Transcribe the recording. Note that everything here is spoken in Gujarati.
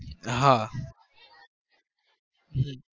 હા હમ